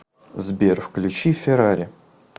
сбер включи феррари